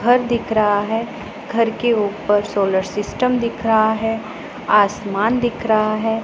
घर दिख रहा है घर के ऊपर सोलर सिस्टम दिख रहा है आसमान दिख रहा है।